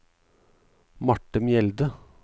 Marte Mjelde